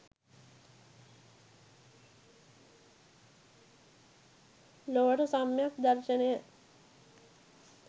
ලොවට සම්‍යක් දර්ශනය